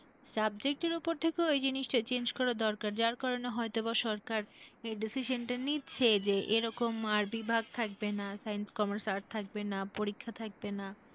Subject এর ওপর থেকেও এই জিনিস টা change করা দরকার, যার কারণে হয়তো বা সরকার এই decision টা নিচ্ছে যে এরকম আর বিভাগ থাকবে না science, commerce, arts থাকবে না পরীক্ষা থাকবে না।